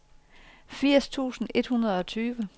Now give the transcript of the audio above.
firs tusind et hundrede og tyve